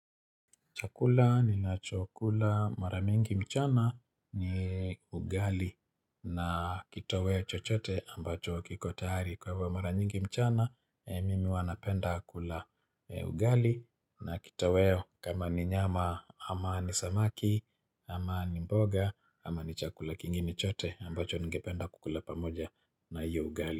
Chakula ninachokula mara mingi mchana ni ugali na kitoweo chochote ambacho kiko tayari. Kwa hivyo mara mingi mchana, mimi huwa napenda kula ugali na kitoweo kama ni nyama ama ni samaki ama ni mboga ama ni chakula kingine chote ambacho ningependa kukula pamoja na iyo ugali.